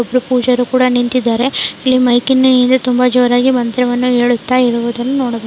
ಇಲ್ಲಿ ಪೂಜಾರಿ ಕೂಡ ನಿಂತಿದ್ದಾರೆ ಇಲ್ಲಿ ಮೈಕ್ನಲ್ಲಿ ತುಂಬಾ ಜೋರಾಗಿ ಮಂತ್ರವನ್ನು ಹೇಳುತಾ ಇರೋದನ್ನ ನೋಡಬಹುದು.